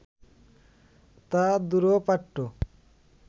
তা দুরূহপাঠ্য